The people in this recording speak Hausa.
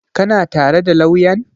Ka na tare da lauyan?